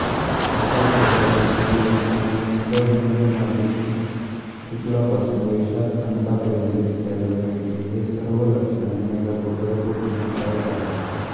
अशाप्रकारे शुभलक्षणयुक्त मेघ मार्गशीर्ष शुक्लपासून वैशाख अंतापर्यंत दिसायला पाहिजे हि सर्व लक्षणे मेघगर्भ पुष्टीदायक आहेत